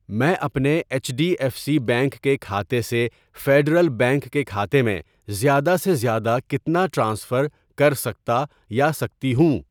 میں اپنے H D F C bank کےکھاتے سے فیڈرل بینک کے کھاتے میں زیادہ سے زیادہ کتنا ٹرانسفر کرسکتا یا سکتی ہوں؟